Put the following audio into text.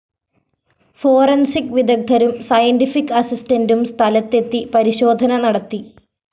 forensic വിദഗ്ദ്ധരും scientific അസിസ്റ്റന്റും സ്ഥലത്തെത്തി പരിശോധന നടത്തി